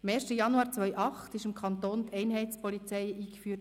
Am 1. Januar 2008 wurde im Kanton Bern die Einheitspolizei eingeführt.